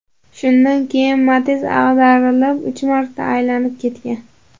Shundan keyin Matiz ag‘darilib, uch marta aylanib ketgan.